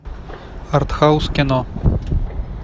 артхаус кино